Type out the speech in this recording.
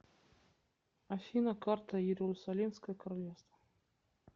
афина карта иерусалимское королевство